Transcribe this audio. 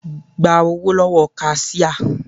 Gba owó lówó kasíá